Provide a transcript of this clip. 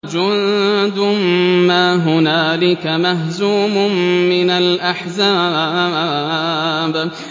جُندٌ مَّا هُنَالِكَ مَهْزُومٌ مِّنَ الْأَحْزَابِ